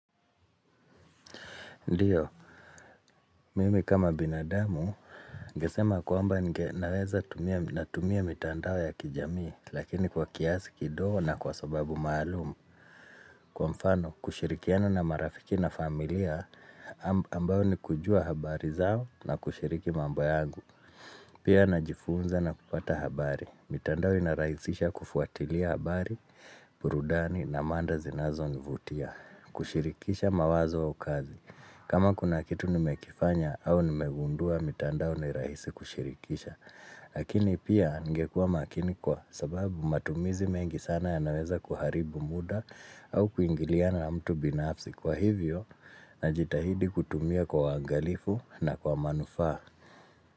Ndiyo, mimi kama binadamu ningesema kwamba ninge naweza tumia mitandao ya kijamii Lakini kwa kiasi kidogo na kwa sababu maalum Kwa mfano, kushirikiano na marafiki na familia ambayo ni kujua habari zao na kushiriki mambo yangu Pia na jifunza na kupata habari mitandao inarahisisha kufuatilia habari, burudani na manda zinazo nivutia kushirikisha mawazo au kazi kama kuna kitu nimekifanya au nimegundua mitandao ni rahisi kushirikisha Lakini pia ningekuwa makini kwa sababu matumizi mengi sana ya naweza kuharibu muda au kuingiliana na mtu binafsi kwa hivyo na jitahidi kutumia kwa waangalifu na kwa manufaa.